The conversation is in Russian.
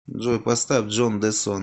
джой поставь джон де сон